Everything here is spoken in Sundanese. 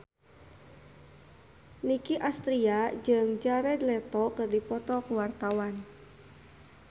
Nicky Astria jeung Jared Leto keur dipoto ku wartawan